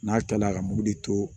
N'a kilala ka mugudi to